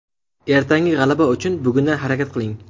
Ertangi g‘alaba uchun bugundan harakat qiling.